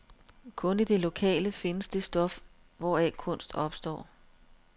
Kun i det lokale findes det stof, hvoraf kunst opstår.